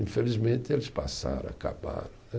Infelizmente, eles passaram, acabaram, né